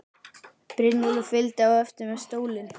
Brynjólfur fylgdi á eftir með stólinn.